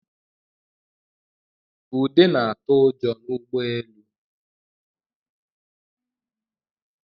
Ude na-atụ ụjọ n'ụgbọelu